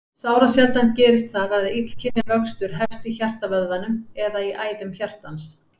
Sárasjaldan gerist það að illkynja vöxtur hefst í hjartavöðvanum eða í æðum hjartans.